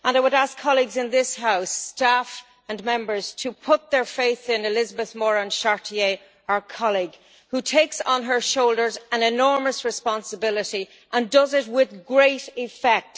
I would ask colleagues in this House, staff and Members, to put their faith in Elisabeth Morin Chartier, our colleague who takes on her shoulders an enormous responsibility and does it with great effect.